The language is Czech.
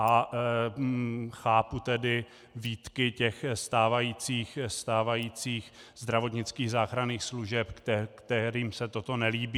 A chápu tedy výtky těch stávajících zdravotnických záchranných služeb, kterým se toto nelíbí.